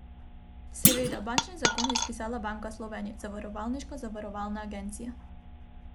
Seveda, bančni zakon je spisala Banka Slovenije, zavarovalniškega zavarovalna agencija.